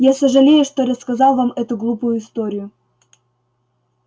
я сожалею что рассказал вам эту глупую историю